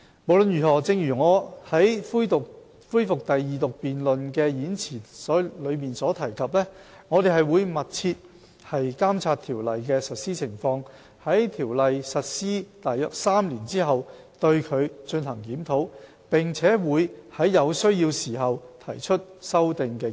無論如何，正如我在恢復二讀辯論的演辭所提及，我們會密切監察《條例》的實施情況，在《條例》實施約3年後進行檢討，並會在有需要時提出修訂建議。